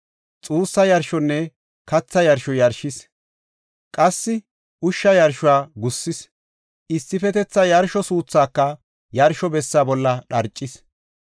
xuussa yarshonne katha yarsho yarshis. Qassi ushsha yarshuwa gussis; issifetetha yarsho suuthaaka yarsho bessa bolla dharcis.